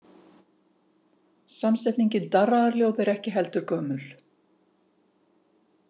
Samsetningin darraðarljóð er ekki heldur gömul.